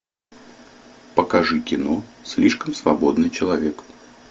покажи кино слишком свободный человек